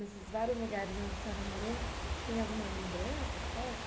Nesses vários lugares onde a senhora morou, tem alguma lembrança forte?